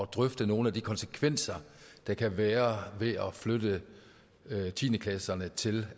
drøfte nogle af de konsekvenser der kan være ved at flytte tiende klasserne til